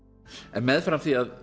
en meðfram því að